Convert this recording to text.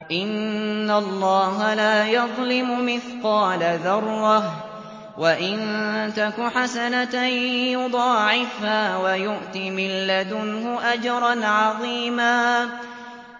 إِنَّ اللَّهَ لَا يَظْلِمُ مِثْقَالَ ذَرَّةٍ ۖ وَإِن تَكُ حَسَنَةً يُضَاعِفْهَا وَيُؤْتِ مِن لَّدُنْهُ أَجْرًا عَظِيمًا